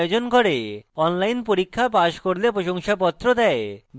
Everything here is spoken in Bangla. online পরীক্ষা pass করলে প্রশংসাপত্র দেয়